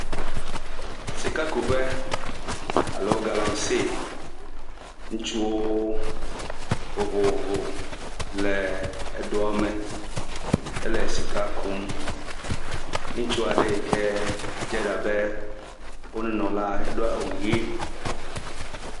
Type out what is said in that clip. Sikakuƒe alo galamsey. Ŋutsuwo vovovo le edoa me hele sika kum. Ŋutsu aɖe yi ke dze abe wo nunɔla do awu ʋi.